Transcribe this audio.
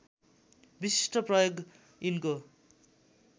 विशिष्ट प्रयोग यिनको